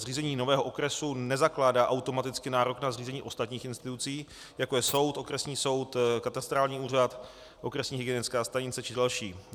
Zřízení nového okresu nezakládá automaticky nárok na zřízení ostatních institucí, jako je soud, okresní soud, katastrální úřad, okresní hygienická stanice a další.